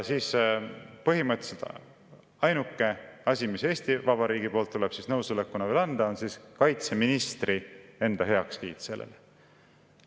Siis põhimõtteliselt ainuke asi, mis Eesti Vabariigil tuleb nõusolekuna veel anda, on kaitseministri enda heakskiit sellele.